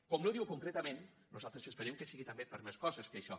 com no ho diu concretament nosaltres es·perem que sigui també per a més coses que això